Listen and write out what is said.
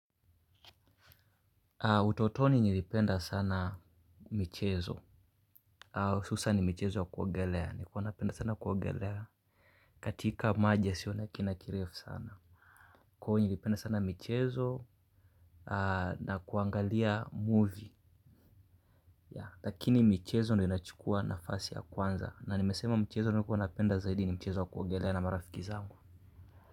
Utotoni nilipenda sana michezo. Hususani michezo ya kuogelea, nilikua napenda sana kuogelea. Katika maji yasiyo na kina kirefu sana. Kwahiyo nilipenda sana michezo, na kuangalia movie. Lakini michezo ndiyo inachukua nafasi ya kwanza, na nimesema mchezo niliokuwa napenda zaidi ni mchezo wa kuogelea na marafiki zangu.